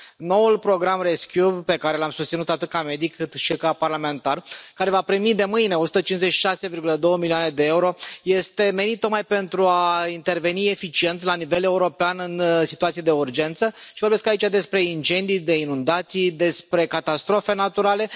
Noul program Rescue pe care l am susținut atât ca medic, cât și ca parlamentar, care va primi de mâine 156,2 milioane de euro, este menit tocmai pentru a interveni eficient la nivel european în situații de urgență, și vorbesc aici despre incendii, de inundații, despre catastrofe naturale.